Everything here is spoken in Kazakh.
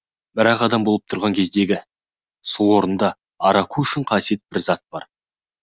бірақ адам болып тұрған кездегі сол орында араку үшін қасиетті бір зат бар